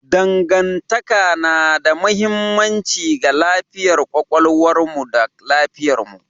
Dangantaka na da mahimmanci ga lafiyar kwakwalwarmu da lafiyarmu.